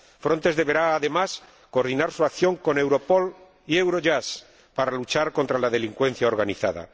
Frontex deberá, además, coordinar su acción con Europol y Eurojust para luchar contra la delincuencia organizada.